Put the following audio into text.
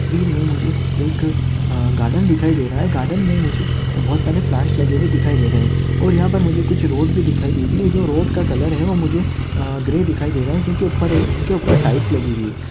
तसवीर में मुझे एक अह गार्डन दिखाई दे रहा है गार्डन मे मुझे अह बहुत सारे प्लांट्स लगे हुए दिखाई दे रहा है और यहा पर मुझे कुछ रोड भी दिखाई दे रही है जो रोड का कलर है वो मुझे अह ग्रे दिखाई दे रहा है क्योंकि ऊपर जिनके ऊपर टाइल्स लगी हुई है।